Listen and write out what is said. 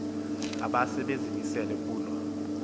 abase bezimisele kuloo